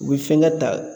U bɛ fɛnkɛ ta